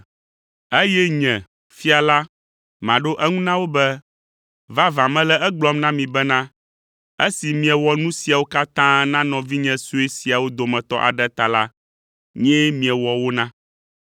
“Eye Nye, Fia la, maɖo eŋu na wo be, ‘Vavã, mele egblɔm na mi bena, esi miewɔ nu siawo katã na nɔvinye sue siawo dometɔ aɖe ta la, nyee miewɔ wo na!’